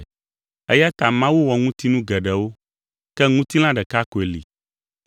Eya ta Mawu wɔ ŋutinu geɖewo, ke ŋutilã ɖeka koe li.